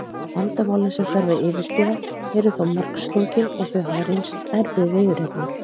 Vandamálin sem þarf að yfirstíga eru þó margslungin og þau hafa reynst erfið viðureignar.